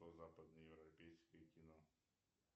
западно европейское кино